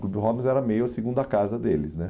O Clube Robbins era meio a segunda casa deles, né?